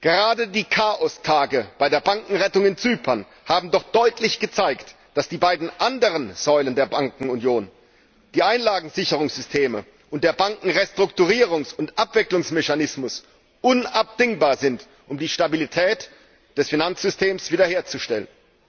Gerade die Chaostage bei der Bankenrettung in Zypern haben doch deutlich gezeigt, dass die beiden anderen Säulen der Bankenunion die Einlagensicherungssysteme und der Bankenrestrukturierungs und abwicklungsmechanismus unabdingbar sind, um die Stabilität des Finanzsystems wieder herzustellen.